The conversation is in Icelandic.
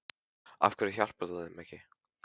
Af hverju hjálpar þú þeim ekki?